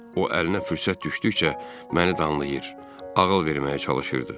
O əlinə fürsət düşdükcə məni danlayır, ağıl verməyə çalışırdı.